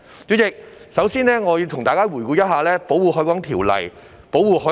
主席，首先，我要跟大家回顧一下《條例》。